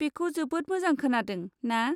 बेखौ जोबोद मोजां खोनादों, ना?